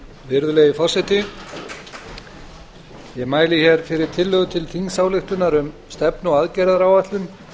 virðulegi forseti ég mæli hér fyrir tillögu til þingsályktunar um stefnu og aðgerðaáætlun